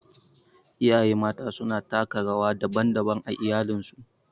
Iyaye Mata suna taka rawa daban-daban a iyalinsu.